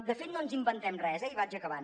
de fet no ens inventem res eh i vaig acabant